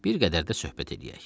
Bir qədər də söhbət eləyək.